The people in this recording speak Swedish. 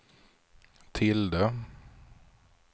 tilde